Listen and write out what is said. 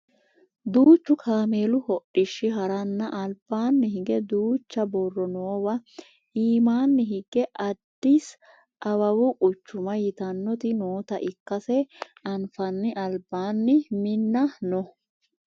duuchu kameelu hodhishshi haranna albaanni hige duucha borro noowa iimaanni higge addisi awawu quchuma yitannoti noota ikkase anfanni albanni minna no